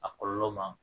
A kɔlɔlɔ ma